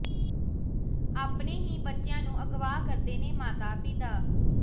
ਆਪਣੇ ਹੀ ਬੱਚਿਆਂ ਨੂੰ ਅਗਵਾ ਕਰਦੇ ਨੇ ਮਾਤਾ ਪਿਤਾ